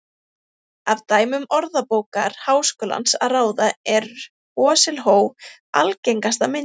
Af dæmum Orðabókar Háskólans að ráða er hosiló algengasta myndin.